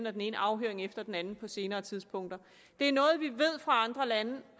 og den ene afhøring efter den anden på senere tidspunkter det er noget vi ved fra andre lande